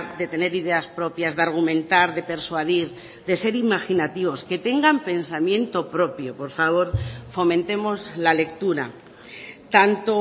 de tener ideas propias de argumentar de persuadir de ser imaginativos que tengan pensamiento propio por favor fomentemos la lectura tanto